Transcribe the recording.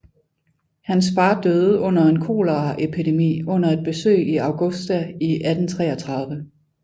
Hans far døde under en koleraepidemi under et besøg i Augusta i 1833